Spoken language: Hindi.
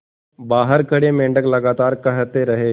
बाहर खड़े मेंढक लगातार कहते रहे